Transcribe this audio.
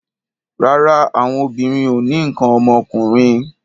Rárá, àwọn obìnrin ò ní nǹkan ọmọkùnrin.